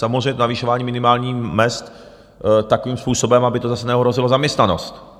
Samozřejmě navyšování minimálních mezd takovým způsobem, aby to zase neohrozilo zaměstnanost.